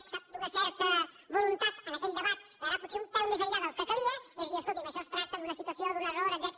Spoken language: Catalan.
sap d’una certa voluntat en aquell debat d’anar potser un pèl més enllà del que calia és a dir escolti’m això es tracta d’una situació d’un error etcètera